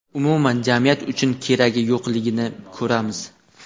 umuman jamiyat uchun keragi yo‘qligini ko‘ramiz.